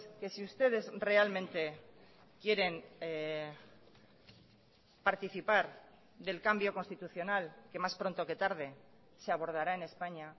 que si ustedes realmente quieren participar del cambio constitucional que más pronto que tarde se abordará en españa